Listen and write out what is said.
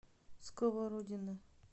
сковородино